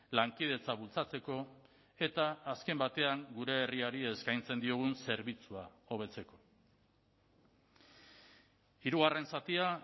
lankidetza bultzatzeko eta azken batean gure herriari eskaintzen diogun zerbitzua hobetzeko hirugarren zatia